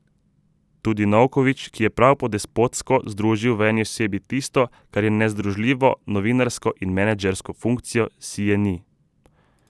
Tudi Novković, ki je prav po despotsko združil v eni osebi tisto, kar je nezdružljivo, novinarsko in menedžersko funkcijo, si je ni.